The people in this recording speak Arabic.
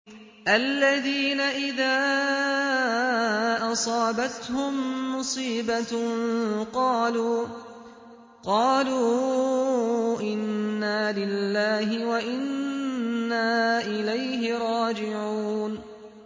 الَّذِينَ إِذَا أَصَابَتْهُم مُّصِيبَةٌ قَالُوا إِنَّا لِلَّهِ وَإِنَّا إِلَيْهِ رَاجِعُونَ